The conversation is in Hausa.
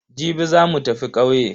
Jibi za mu tafi ƙauye.